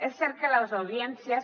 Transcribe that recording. és cert que les audiències